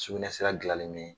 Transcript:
Sukunɛsira dilannen bɛ ni